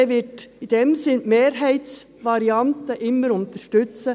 Die glp wird in diesem Sinn die Mehrheitsvariante immer unterstützen.